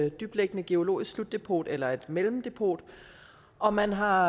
et dybtliggende geologisk slutdepot eller et mellemdepot og man har